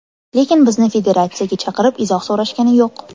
Lekin bizni federatsiyaga chaqirib, izoh so‘rashgani yo‘q.